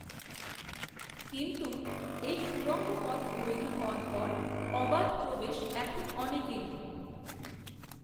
কিন্ত্ত এই সুড়ঙ্গ পথ তৈরি হওয়ার পর, অবাধ, প্রবেশ, এখন, অনেকেরই